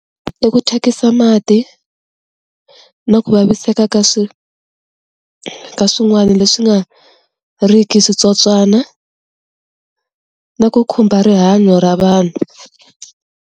I ku thyakisa mati, na ku vaviseka ka ka swin'wani leswi nga ri ki switsotswana, na ku khumba rihanyo ra vanhu.